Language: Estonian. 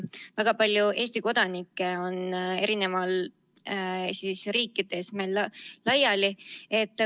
Väga palju Eesti kodanikke on eri riikides laiali.